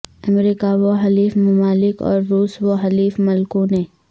امریکہ و حلیف ممالک اور روس و حلیف ملکوںنے